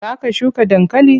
Za ka shuka dankali?